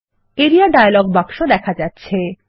area dialog বাক্স দেখা যাচ্ছে